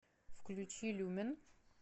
включи люмен